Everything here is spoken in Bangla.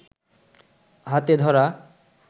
হাতে ধরা